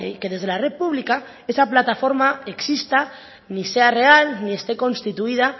que desde la red pública esa plataforma exista que ni sea real ni esté constituida